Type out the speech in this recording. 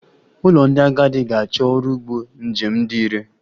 Ụlọ ndị agadi ga-achọ ọrụ ụgbọ njem dị irè